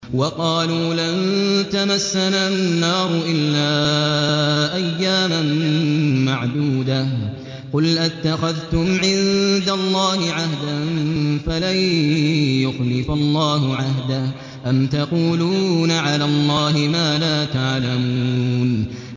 وَقَالُوا لَن تَمَسَّنَا النَّارُ إِلَّا أَيَّامًا مَّعْدُودَةً ۚ قُلْ أَتَّخَذْتُمْ عِندَ اللَّهِ عَهْدًا فَلَن يُخْلِفَ اللَّهُ عَهْدَهُ ۖ أَمْ تَقُولُونَ عَلَى اللَّهِ مَا لَا تَعْلَمُونَ